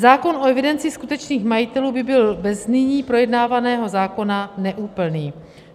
Zákon o evidenci skutečných majitelů by byl ve znění projednávaného zákona neúplný.